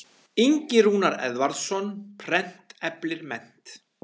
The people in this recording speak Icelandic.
Ingi Rúnar Eðvarðsson, Prent eflir mennt.